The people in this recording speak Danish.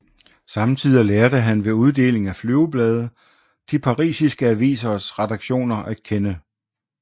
Samtidig lærte han ved uddeling af flyveblade de parisiske avisers redaktioner at kende